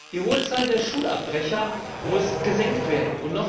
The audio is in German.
Die hohe Zahl der Schulabbrecher muss gesenkt werden.